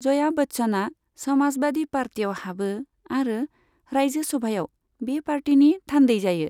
जया बच्चनआ समाजबादी पार्टीयाव हाबो आरो रायजो सभायाव बे पार्टीनि थान्दै जायो।